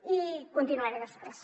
i continuaré després